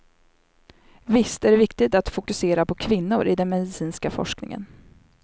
Visst är det viktigt att fokusera på kvinnor i den medicinska forskningen.